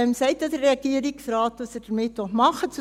Der Regierungsrat sagt ja, was er damit machen will.